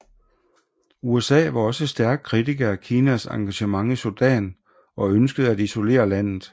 USA var også et stærk kritiker af Kinas engagement i Sudan og ønskede at isolere landet